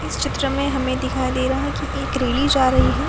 इस चित्र मे हमे दिखाई दे रहा है की एक रेली जा रही है।